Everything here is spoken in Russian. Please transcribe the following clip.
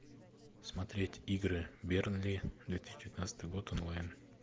смотреть игры бернли две тысячи девятнадцатый год онлайн